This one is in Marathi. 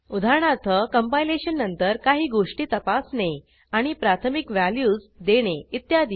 उदाहरणार्थ कंपायलेशन नंतर काही गोष्टी तपासणे आणि प्राथमिक व्हॅल्यूज देणे इत्यादी